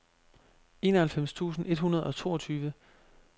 enoghalvfems tusind et hundrede og toogtyve